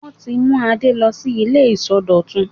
Wọ́n ti mú Adé lọ sí ilé ìsọdọ̀tun.